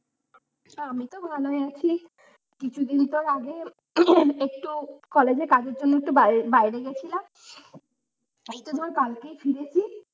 আমিতো ভালোই আছি, কিছুদিন তো আগে একটু কলেজে কাজের জন্য একটু বাইরে, বাইরে গিয়েছিলাম এইতো ধর কালকেই ফিরেছি।